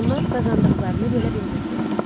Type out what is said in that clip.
Onlar qazandıqlarını bölə bilmirdilər.